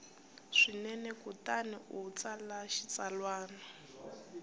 swinene kutani u tsala xitsalwana